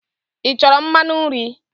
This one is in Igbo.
Ị chọrọ mmanụ nri?